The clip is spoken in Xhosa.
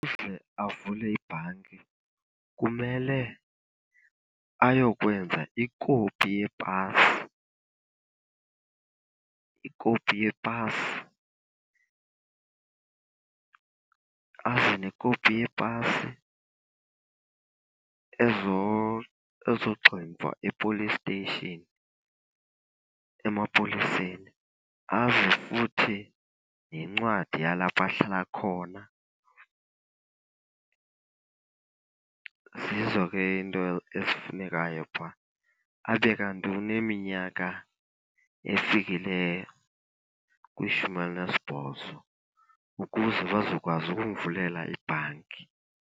Avule ibhanki kumele ayokwenza ikopi yepasi, ikopi yepasi, aze nekopi yepasi ezogximfwa e-police station, emapoliseni. Aze futhi nencwadi yalapho ahlala khona. Zizo ke iinto ezifunekayo phaa. Abe kanti uneminyaka efikileyo kwishumi elinesibhozo ukuze bazokwazi ukumvulela ibhanki.